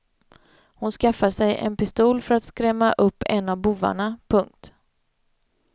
Hon skaffar sig en pistol för att skrämma upp en av bovarna. punkt